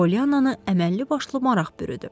Poliannanı əməlli-başlı maraq bürüdü.